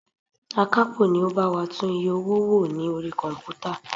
Akapo ni ó bá wa tún iye owó wò ní orí komputa.